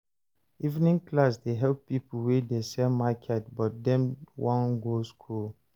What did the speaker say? Evening class dey help pipo wey dey sell market but dem wan go skool.